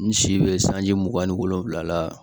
N si bɛ sanji mugan ni wolonwula la